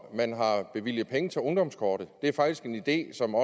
at man har bevilget penge til ungdomskortet det er faktisk en idé som